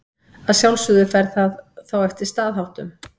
Að sjálfsögðu fer það þá eftir staðháttum.